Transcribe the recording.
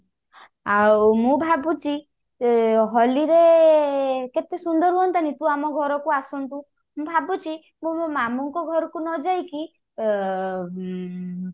ଆଉ ମୁଁ ଭାବୁଛି ଏ ହୋଲି ରେ କେତେ ସୁନ୍ଦର ହୁଆନ୍ତାନି ତୁ ଆମ ଘରକୁ ଆସନ୍ତୁ ମୁଁ ଭାବୁଛି ମୁଁ ମୋ ମାମୁଁ ଙ୍କ ଘରକୁ ନ ଯାଇକି ଅ ଉଁ